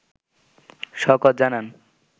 শওকত জানান